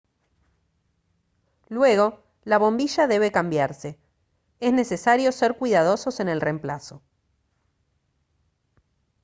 luego la bombilla debe cambiarse es necesario ser cuidadosos en el reemplazo